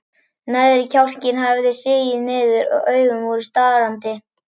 Neðri kjálkinn hafði sigið niður og augun voru starandi.